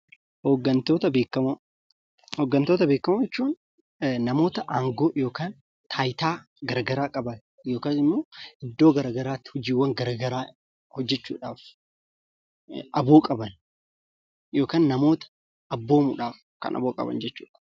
Hooggantoota beekamoo jechuun namoota aangoo yookaan taayitaa garagaraa qaban yookaan ammoo iddoowwan garagaraatti hojiiwwan garagaraa hojjechuudhaaf aboo qaban yookaan namoota abboomuudhaaf kan aboo qaban jechuudha.